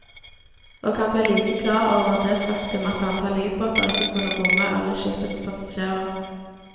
Og han ble like klar over det faktum at antall livbåter ikke kunne romme alle skipets passasjerer.